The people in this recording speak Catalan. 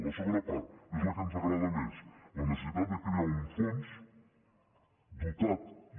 la segona part és la que ens agrada més la necessitat de crear un fons dotat i